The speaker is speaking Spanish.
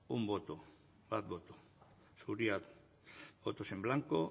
un voto bat boto suria votos en blanco